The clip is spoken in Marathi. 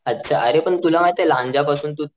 अच्छा अरे पण तुला माहितेय लांजा पासून तू